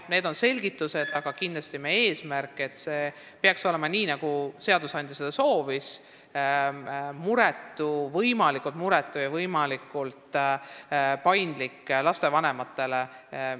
Need on selgitused, aga kindlasti on meie eesmärk, et see protsess peaks käima nii, nagu seadusandja seda soovis, st olema võimalikult muretu ja võimalikult paindlik lastevanematele.